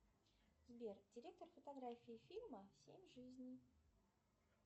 сбер директор фотографии фильма семь жизней